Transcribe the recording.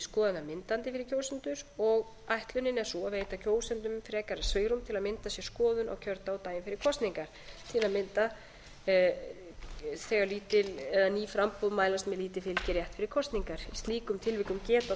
fyrir kjósendur og ætlunin er sú að veita kjósendum frekara svigrúm til að mynda sér skoðun á kjördag og daginn fyrir kosningar til að mynda þegar láta eða ný framboð mælast með lítið fylgi rétt fyrir kosningar í slíkum tilvikum geta